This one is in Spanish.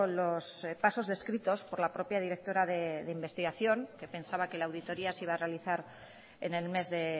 los pasos descritos por la propia directora de investigación que pensaba que la auditoría se iba a realizar en el mes de